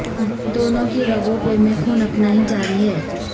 دونوں کی رگ و پے میں خون اپنا ہی جاری ہے